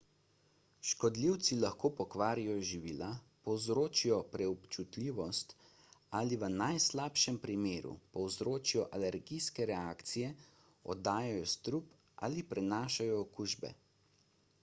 škodljivci lahko pokvarijo živila povzročijo preobčutljivost ali v najslabšem primeru povzročijo alergijske reakcije oddajajo strup ali prenašajo okužbe